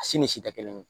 A si ni si tɛ kelen ye